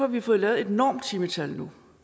vi fået lavet et normtimetal nu